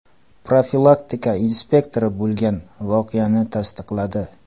Profilaktika inspektori bo‘lgan voqeani tasdiqladi.